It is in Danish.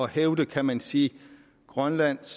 hæve kan man sige grønlands